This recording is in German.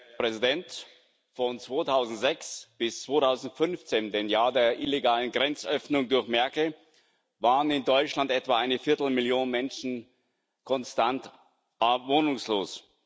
Herr Präsident! Von 2006 bis 2015, dem Jahr der illegalen Grenzöffnung durch Merkel, waren in Deutschland etwa eine Viertelmillion Menschen konstant wohnungslos.